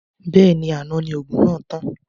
Bẹ́ẹ̀ni, àná ni òògùn náà tán